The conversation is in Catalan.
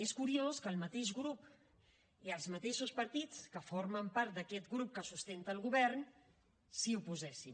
és curiós que el mateix grup i els mateixos partits que formen part d’aquest grup que sustenta el govern s’hi oposessin